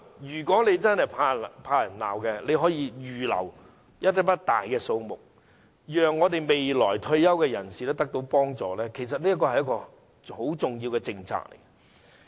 如果政府真的怕被人責罵，可以預留一大筆錢，讓未來退休人士得到幫助，這其實是一項很重要的政策。